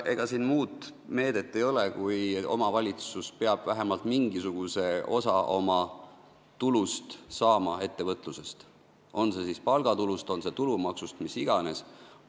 Ega siin muud meedet ei ole, kui et omavalitsus peab vähemalt mingisuguse osa oma tulust saama ettevõtlusest, kas palgatulust, kas tulumaksust, millest iganes.